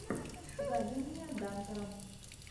покажи мне данкара